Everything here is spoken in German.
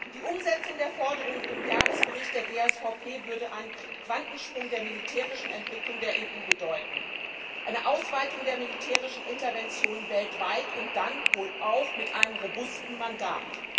Die Umsetzung der Forderungen im Jahresbericht der GSVP würde einen Quantensprung der militärischen Entwicklung der EU bedeuten, eine Ausweitung der militärischen Interventionen weltweit, und dann wohl auch mit einem robusten Mandat.